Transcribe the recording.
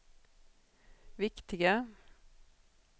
viktiga